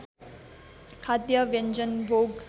खाद्य व्यञ्जन भोग